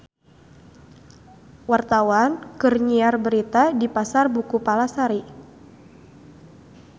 Wartawan keur nyiar berita di Pasar Buku Palasari